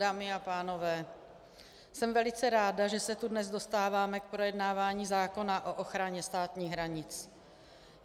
Dámy a pánové, jsem velice ráda, že se tu dnes dostáváme k projednávání zákona o ochraně státních hranic.